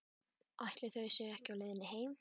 Skiptir einhverju máli hvaðan maður kemur?